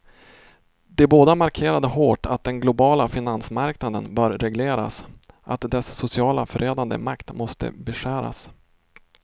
De båda markerade hårt att den globala finansmarknaden bör regleras, att dess socialt förödande makt måste beskäras.